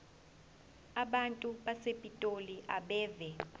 abantu basepitoli abeve